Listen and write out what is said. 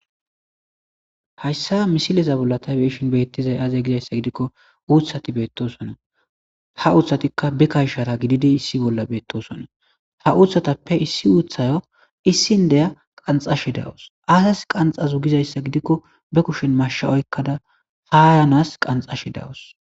Hayssa misileza bolla ta be'ashin beettizay aaze giza issa gidikko uutati beettosona. Ha uutatikka ba kashara gididi issi bolla beettosona. Ha uuthatappe issi uuthayo issin diya qanxashe dawusu. Qaassi qanxazu giza issa gidikko ba kushen mashsha oyqqada ha ayanas qanxashe dawusu.